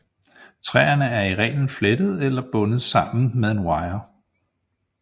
Træerne er i reglen flettet eller bundet sammen med en wire